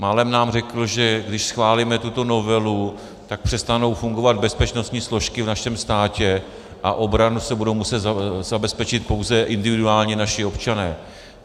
Málem nám řekl, že když schválíme tuto novelu, tak přestanou fungovat bezpečnostní složky v našem státě a obranu si budou muset zabezpečit pouze individuálně naši občané.